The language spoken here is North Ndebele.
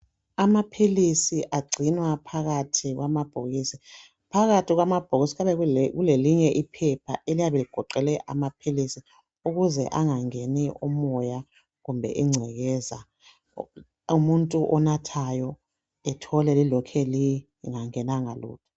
Amaphilisi agcinwa phakathi kwamabhokisi, phakathi kwamabhokisi kuyabe kulelinye iphepha eliyabe ligoqele amaphilisi ukuze angangeni umoya kumbe ingcekeza umuntu onathayo ethole lilokhe lingangenanga lutho.